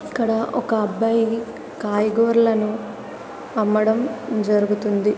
ఇక్కడ ఒక అబ్బాయి కాయగూరలను అమ్మడం జరుగుతుంది.